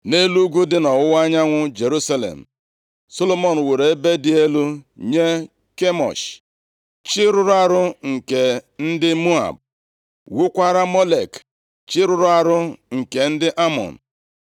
Nʼelu ugwu dị nʼọwụwa anyanwụ Jerusalem, + 11:7 Ugwu dị nʼọwụwa anyanwụ Jerusalem Ugwu a, bụ Ugwu Oliv, nke aha ọzọ a na-akpọ ya bụ Ugwu rụrụ arụ, \+xt 2Ez 23:13\+xt* Solomọn wuru ebe dị elu nye Kemosh, chi rụrụ arụ nke ndị Moab, wuokwara Molek chi rụrụ arụ nke ndị Amọn.